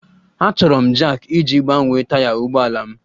Achọrọ m Jack iji gbanwee taya ụgbọ ala m